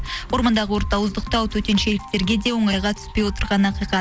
ормандағы өртті ауыздықтау төтеншеліктерге де оңайға түспей отырғаны ақиқат